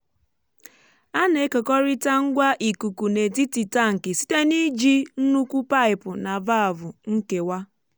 a na-ekekọrịta ngwa ikuku n’etiti tankị site n’iji nnukwu paipu na valvụ nkewa.